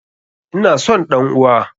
Ina son ɗan uwa!